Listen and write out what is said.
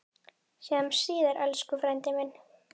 Sjáumst síðar, elsku frændi minn.